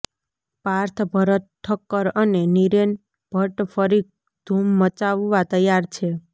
પાર્થ ભરત ઠક્કર અને નિરેન ભટ્ટ ફરી ધુમ મચાવવા તૈયાર છે